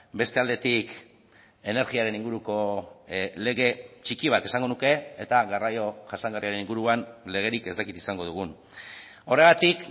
beste aldetik energiaren inguruko lege txiki bat esango nuke eta garraio jasangarriaren inguruan legerik ez dakit izango dugun horregatik